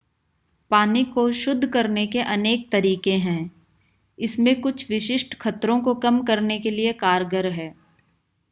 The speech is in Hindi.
पानी को शुद्ध करने के अनेक तरीके हैं इसमें कुछ विशिष्ट खतरों को कम करने के लिए कारगर है